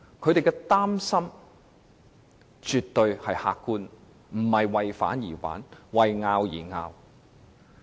他們的擔心絕對客觀，並非為反對而反對、為爭拗而爭拗。